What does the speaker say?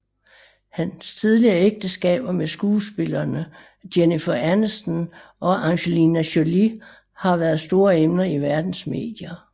Hans tidligere ægteskaber med skuespillerne Jennifer Aniston og Angelina Jolie har været store emner i verdens medier